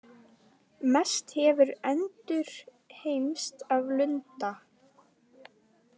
Mest hefur endurheimst af lunda.